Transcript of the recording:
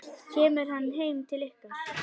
Kemur hann heim til ykkar?